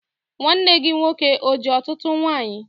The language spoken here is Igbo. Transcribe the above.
Nwanne gị nwoke o ji ọtụtụ nwanyị?